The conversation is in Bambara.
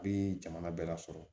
Bi jamana bɛɛ la sɔrɔ